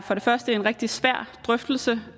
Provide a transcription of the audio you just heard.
for det første er en rigtig svær drøftelse